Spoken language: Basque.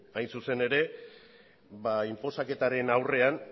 hain zuzen ere inposaketaren aurrean